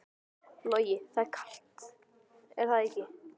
Logi: Og það er kalt er það ekki?